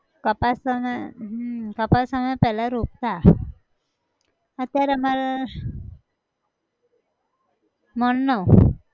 કપાસ તમે, હમ કપાસ તો અમે પહેલા રોપતા, અત્યારે અમાર, મણ નો